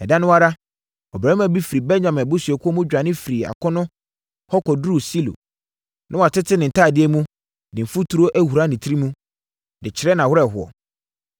Ɛda no ara, ɔbarima bi firi Benyamin abusuakuo mu dwane firii akono hɔ bɛduruu Silo. Na watete ne ntadeɛ mu, de mfuturo ahura ne tiri mu, de kyerɛ nʼawerɛhoɔ.